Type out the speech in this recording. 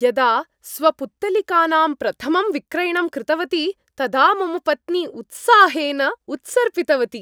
यदा स्वपुत्तलिकानां प्रथमं विक्रयणं कृतवती तदा मम पत्नी उत्साहेन उत्सर्पितवती।